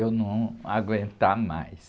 Eu não aguentar mais.